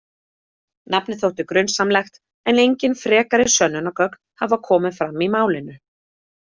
Nafnið þótti grunsamlegt en engin frekari sönnunargögn hafa komið fram í málinu.